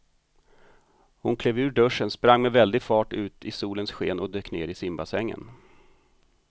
Hon klev ur duschen, sprang med väldig fart ut i solens sken och dök ner i simbassängen.